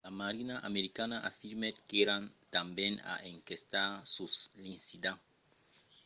la marina americana afirmèt qu’èran tanben a enquestar sus l’incident